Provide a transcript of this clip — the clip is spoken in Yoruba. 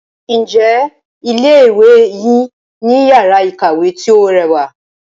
Ǹjẹ́ ilé ìwé yín ní iyàrá ìkàwé tí o rẹwà?